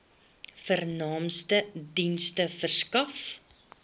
vernaamste dienste verskaf